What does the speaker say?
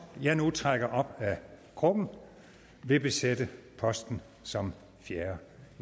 jeg nu trækker op af krukken vil besætte posten som fjerde